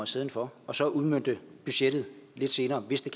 stedet for og så udmønte budgettet lidt senere hvis det